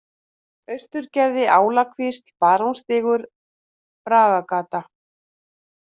Austurgerði, Álakvísl, Barónsstígur, Bragagata